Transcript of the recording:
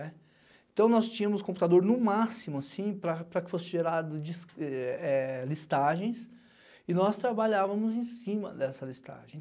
Então, nós tínhamos computador no máximo, assim, para que fosse gerado listagens e nós trabalhávamos em cima dessa listagem.